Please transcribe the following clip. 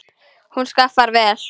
Hann skaffar vel.